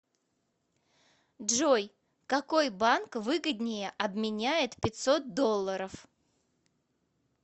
джой какой банк выгоднее обменяет пятьсот долларов